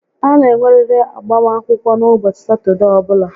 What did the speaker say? A na enweriri agbam akwụkwọ n'ụbọchị Satọdee ọbụla